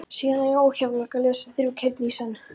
Síðan eru óhjákvæmilega lesin þrjú kirni í senn.